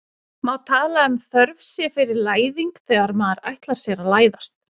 Má tala um þörf sé fyrir læðing þegar maður ætlar sér að læðast?